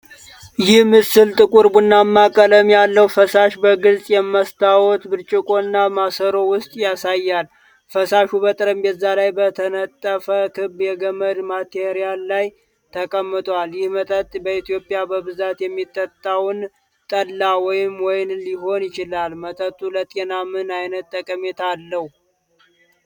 ይህ ምስል ጥቁር ቡናማ ቀለም ያለው ፈሳሽ በግልጽ የመስታወት ብርጭቆ እና ማሰሮ ውስጥ ያሳያል። ፈሳሹ በጠረጴዛ ላይ በተነጠፈ ክብ የገመድ ማቴሪያል ላይ ተቀምጧል። ይህ መጠጥ በኢትዮጵያ በብዛት የሚጠጣውን 'ጠላ' ወይም 'ዎይን'ሊሆን ይችላል። መጠጡ ለጤና ምን ዓይነት ጠቀሜታ አለው?